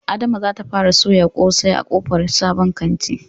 Adama zata fara soyar ƙosai a ƙofar babban kantin